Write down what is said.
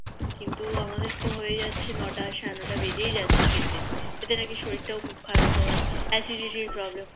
কিন্তু তো আমাদের তো হয়ে যাচ্ছে নোটা সাড়েনটা বেজেই যাচ্ছে খেতে এটাতে নাকি শরীর টাও খুব খারাপ হয় Acidity Problem হয়